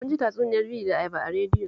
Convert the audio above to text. Mun ji tatsuniyar biri da ayaba a radiyo